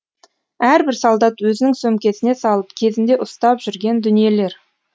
әрбір солдат өзінің сөмкесіне салып кезінде ұстап жүрген дүниелер